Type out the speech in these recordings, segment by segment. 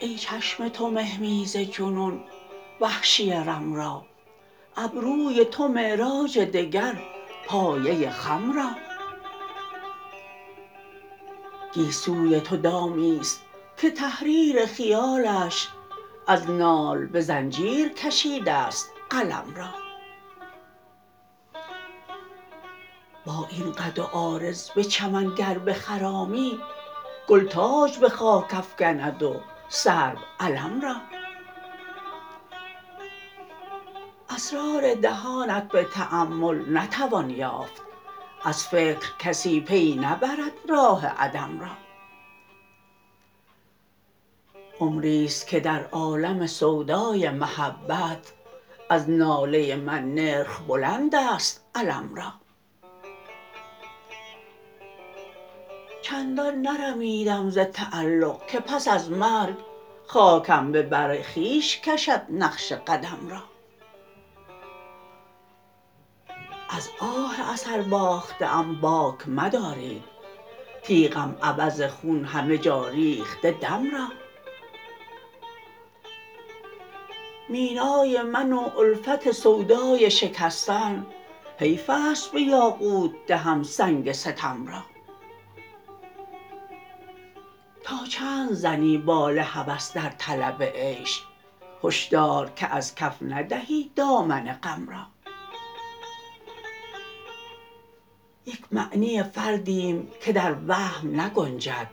ای چشم تو مهمیز جنون وحشی رم را ابروی تو معراج دگر پایه خم را گیسوی تو دامی ست که تحریر خیالش از نال به زنجیر کشیده ست قلم را با این قد و عارض به چمن گر بخرامی گل تاج به خاک افکند و سرو علم را اسرار دهانت به تأمل نتوان یافت از فکر کسی پی نبرد راه عدم را عمری ست که در عالم سودای محبت از ناله من نرخ بلندست الم را چندان نرمیدم ز تعلق که پس از مرگ خاکم به بر خویش کشد نقش قدم را از آه اثرباخته ام باک مدارید تیغم عوض خون همه جا ریخته دم را مینای من و الفت سودای شکستن حیف است به یاقوت دهم سنگ ستم را تا چند زنی بال هوس در طلب عیش هشدار که از کف ندهی دامن غم را یک معنی فردیم که در وهم نگنجد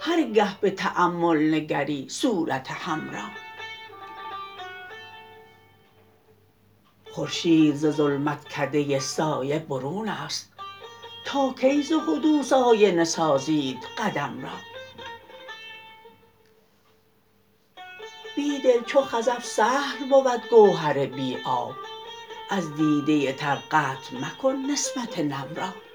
هرگه به تأمل نگری صورت هم را خورشید ز ظلمت کده سایه برون است تاکی ز حدوث آینه سازید قدم را بیدل چو خزف سهل بود گوهر بی آب از دیده تر قطع مکن نسبت نم را